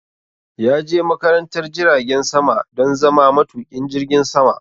Ya je makarantar jiragen sama don zama matuƙin jirgin sama